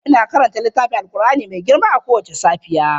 Ina karanta littafin alqur'ani mai tsarki kowace safiya.